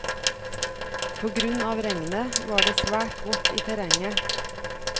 På grunn av regnet var det svært vått i terrenget.